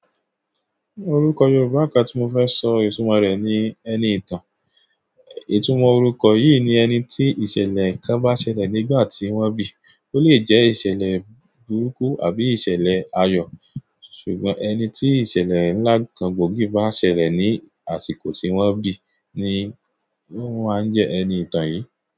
Orúkọ Yorùbá kan tí mo fẹ́ sọ ìtumọ̀ rẹ̀ ni ẹniìtàn. Ìtumò orúkọ yìí ni ẹni tí ìṣẹ̀lẹ̀ kan bá ṣẹlẹ̀ nígbà tí wọ́n bí. Ó lè jẹ́ ìṣẹ̀lẹ̀ burúkú àbí ìṣẹ̀lẹ̀ ayọ̀, ṣùgbọ́n ẹni tí ìṣẹ̀lẹ̀ ńlá kan gbòógì bá ṣẹlẹ̀ ní àsìkò tí wọ́n bí ni wọ́n máa ń jẹ́ ẹniìtàn yìí.